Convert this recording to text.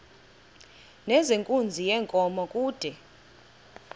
nezenkunzi yenkomo kude